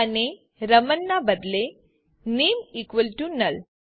અને રમણ ના બદલેname ઇકવલ ટુ નુલ